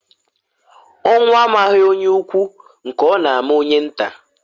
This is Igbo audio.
Ọnwụ amaghi onye ukwu nke ọ na-ama onye nta.